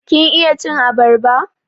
Kin iya cin abarba?